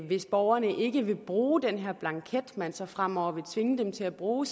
hvis borgerne ikke vil bruge den her blanket man så fremover vil tvinge dem til at bruge